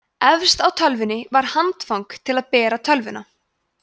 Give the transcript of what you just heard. efst á tölvunni var handfang til að bera tölvuna